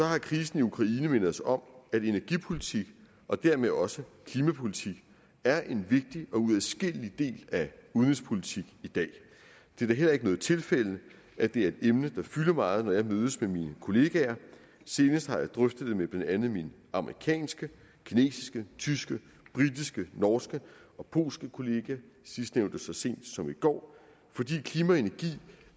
har krisen i ukraine mindet os om at energipolitik og dermed også klimapolitik er en vigtig og uadskillelig del af udenrigspolitik i dag det er da heller ikke noget tilfælde at det er et emne der fylder meget når jeg mødes med mine kollegaer senest har jeg drøftet det med blandt andet mine amerikanske kinesiske tyske britiske norske og polske kollegaer sidstnævnte så sent som i går fordi klima og energi